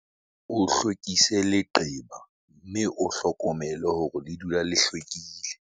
O hlwekise leqeba mme o hlokomele hore le dula le hlwekile.